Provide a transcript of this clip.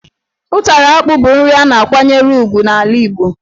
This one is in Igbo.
Ụtara akpụ bụ nri a na-akwanyere ugwu n'ala Igbo,